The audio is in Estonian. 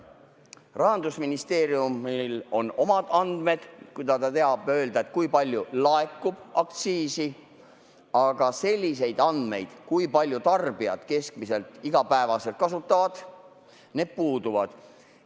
Rahandusministeeriumil on omad andmed, ta teab öelda, kui palju laekub aktsiisi, aga sellised andmed, kui palju tarbijad keskmiselt iga päev kasutavad, puuduvad.